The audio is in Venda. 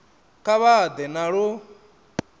kha vha ḓe na lu